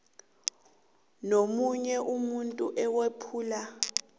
nomunye umuntu owephula